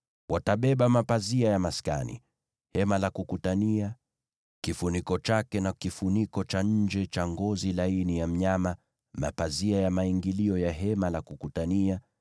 Watabeba mapazia ya maskani. Hema la Kukutania, kifuniko chake na kifuniko cha nje cha ngozi za pomboo, mapazia ya maingilio ya Hema la Kukutania,